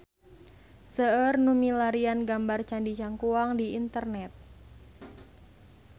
Seueur nu milarian gambar Candi Cangkuang di internet